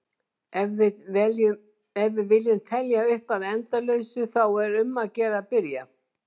Ef við viljum telja upp að endalausu þá er um að gera að byrja!